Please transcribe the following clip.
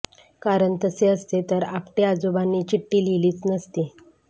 कारण तसे असते तर आपटे आजोबांनी चिठ्ठी लिहीलीच नसती